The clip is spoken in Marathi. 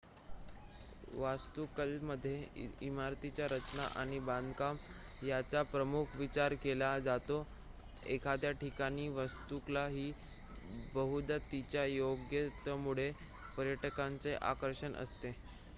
वास्तुकलेमध्ये इमारतीची रचना आणि बांधकाम याचा प्रामुख्याने विचार केला जातो एखाद्या ठिकाणची वास्तुकला ही बहुदा तिच्या योग्यतेमुळे पर्यटकांचे आकर्षण असते